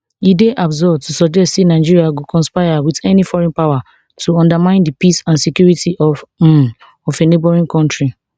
e dey absurd to suggest say nigeria go conspire wit any foreign power to undermine di peace and security um of a neighbouring kontri